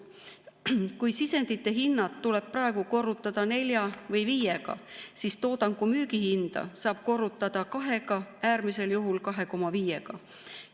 Kui sisendite hinnad tuleb praegu korrutada nelja või viiega, siis toodangu müügihinda saab korrutada kahega, äärmisel juhul 2,5‑ga.